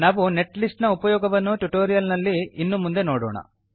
ನಾವು net list ನ ಉಪಯೋಗವನ್ನು ಟ್ಯುಟೋರಿಯಲ್ ನಲ್ಲಿ ಇನ್ನು ಮುಂದೆ ನೋಡೋಣ